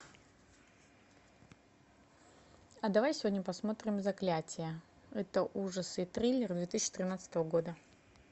а давай сегодня посмотрим заклятие это ужасы и триллер две тысячи тринадцатого года